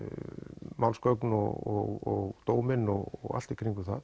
málsgögn og dóminn og allt í kringum það